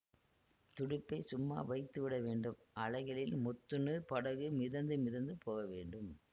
துடுப்பைச் சும்மா வைத்துவிடவேண்டும் அலைகளில் மொத்துண்டு படகு மிதந்து மிதந்து போகவேண்டும்